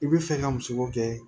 I bɛ fɛ ka muso ko kɛ